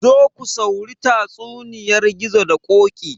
Zo ku sauri tatsuniyar gizo da ƙoƙi